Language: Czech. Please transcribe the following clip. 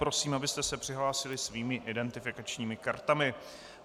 Prosím, abyste se přihlásili svými identifikačními kartami.